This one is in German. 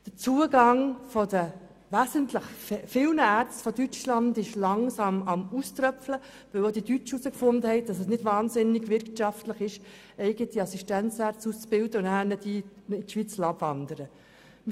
Der Zustrom von Ärzten aus Deutschland ist langsam am Auströpfeln, weil auch die Deutschen herausgefunden haben, dass es nicht wahnsinnig wirtschaftlich ist, eigene Assistenzärzte auszubilden und diese in die Schweiz abwandern zu lassen.